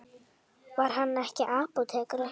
Var hann ekki apótekari?